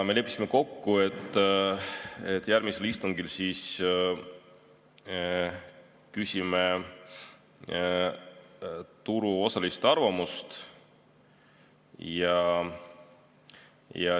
Me leppisime kokku, et järgmisel istungil küsime turuosaliste arvamust.